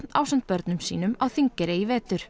ásamt börnum sínum á Þingeyri í vetur